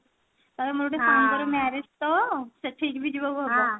ତାପରେ ମୋର ଗୋଟେ ସାଙ୍ଗର marriage ତ ସେଠିକି ବି ଯିବାକୁ ହେବ